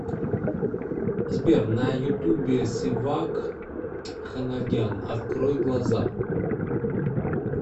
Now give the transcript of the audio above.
сбер на ютубе севак ханагян открой глаза